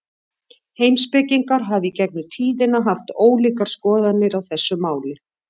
Heimspekingar hafa í gegnum tíðina haft ólíkar skoðanir á þessu máli.